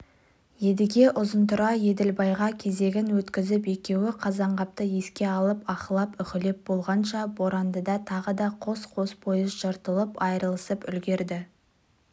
едіге ұзынтұра еділбайға кезегін өткізіп екеуі қазанғапты еске алып аһылап-үһілеп болғанша борандыда тағы да қос-қос пойыз жыртылып-айырылысып үлгерді